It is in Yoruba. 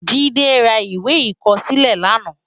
Jide rá iwé ikòsilé làná